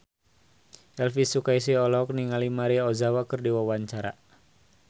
Elvi Sukaesih olohok ningali Maria Ozawa keur diwawancara